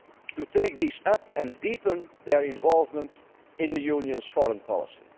to take this up and deepen their involvement in the Union's foreign policy.